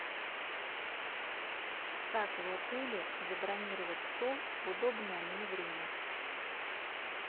как в отеле забронировать стол в удобное мне время